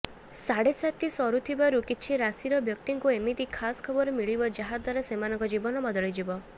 ସାଢେସାତି ସରୁଥିବାରୁ କିଛି ରାଶିର ବ୍ୟକ୍ତିଙ୍କୁ ଏମିତି ଖାସ ଖବର ମିଳିବ ଯାହା ଦ୍ବାରା ସେମାନଙ୍କ ଜୀବନ ବଦଳିଯିବ